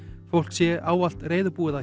fólk sé ávalt reiðubúið